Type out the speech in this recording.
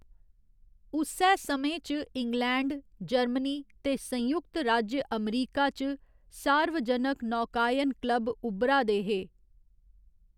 उस्सै समें च इंग्लैंड, जर्मनी ते संयुक्त राज्य अमरीका च सार्वजनक नौकायन क्लब उब्भरा दे हे।